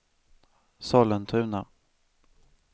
Sollentuna